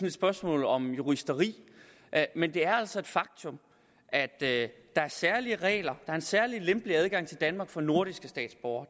et spørgsmål om juristeri men det er altså et faktum at der er særlige regler der er en særlig lempelig adgang til danmark for nordiske statsborgere